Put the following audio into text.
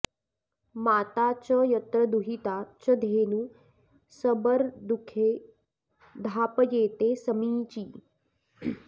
माता च यत्र दुहिता च धेनू सबर्दुघे धापयेते समीची